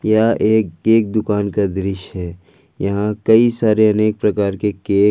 क्या एक एक दुकान का दृश्य है यहां कई सारे अनेक प्रकार के केक--